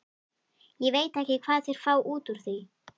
Ég veit ekki hvað þeir fá út úr því.